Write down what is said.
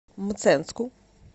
мценску